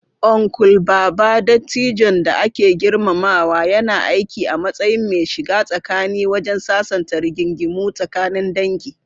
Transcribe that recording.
Uncle Baba, dattijon da ake girmamawa, yana aiki a matsayin mai shiga tsakani wajen sasanta rigingimu tsakanin dangi.